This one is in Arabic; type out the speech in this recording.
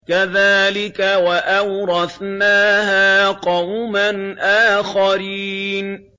كَذَٰلِكَ ۖ وَأَوْرَثْنَاهَا قَوْمًا آخَرِينَ